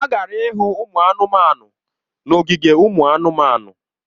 Ha gara ịhụ ụmụ anụmanụ n’ogige ụmụ anụmanụ.